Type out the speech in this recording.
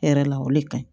Hɛrɛ la o de ka ɲi